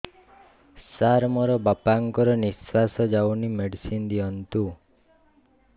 ସାର ମୋର ବାପା ଙ୍କର ନିଃଶ୍ବାସ ଯାଉନି ମେଡିସିନ ଦିଅନ୍ତୁ